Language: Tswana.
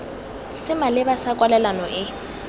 se maleba sa kwalelano e